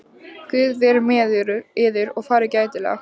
Guð veri með yður og farið gætilega.